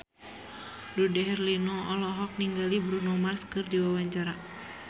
Dude Herlino olohok ningali Bruno Mars keur diwawancara